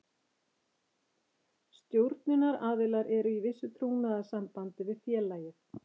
Stjórnunaraðilar eru í vissu trúnaðarsambandi við félagið.